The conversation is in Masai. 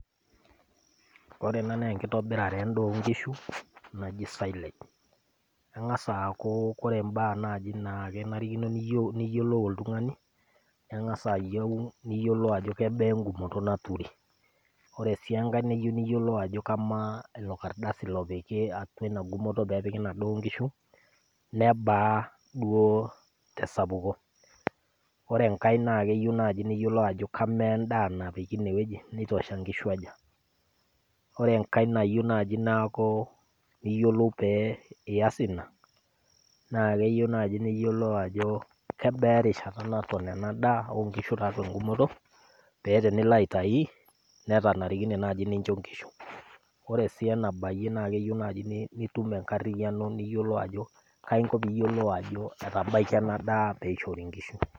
Ore ena naa enkitobirare endaa oo inkishu naji CS[silage]CS keng'asa aaku ore imbaa naaji naa kenarikino niyiolou oltung'ani keng'asa ayieu niyiolou ajo kebaa en'gumoto niyieu neturi ore sii enkae niyeu niyiolou kamaa ilo kardasi lopiki inagumoto peepiki inadaa oo inkishu nebaa duo tesapuko ore enkae naa keyieu naaji niyiolou ajokamaa endaa napiki ine woji nitosha inkishu aja ore enkae nayieu naaji neeku niyiolou pee ias ina naa keyieu naaji niyiolou ajokebaa erishata nato ena daa oo nkishu tiatua en'gumoto pee tenilo aitayu netanarikine naaji nincho inkishu oree sii enabayie naa keyieu naaji nitum enkariyiano niyiolou ajo kai inko piiyiolou ajoetabakia enadaa pee ishori inkishu.